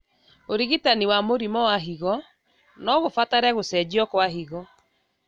ũrigitani wa mũrimũ wa higo nogũbatare gũcenjio kwa higo